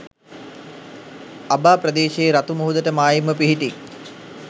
අබා ප්‍රදේශයේ රතු මුහුදට මායිම්ව පිහිටි